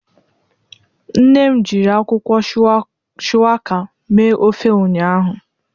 Nne m jiri akwukwo shuwaka mee ofe ụnyahụ